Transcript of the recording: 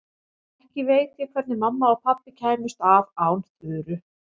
Ekki veit ég hvernig mamma og pabbi kæmust af án Þuru.